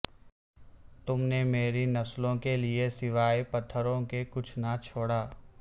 تم نے میری نسلوں کے لیے سوائے پتھروں کے کچھ نہ چھوڑا